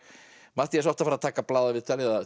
Matthías átti að fara að taka blaðaviðtal eða